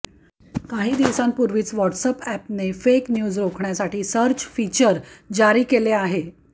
काही दिवसांपुर्वींच व्हॉट्सअॅपने फेक न्यूज रोखण्यासाठी सर्च फीचर जारी केले आहे